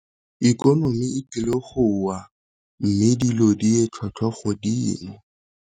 Ikonomi e tlile go wa, mme dilo di tlhwatlhwa godimo.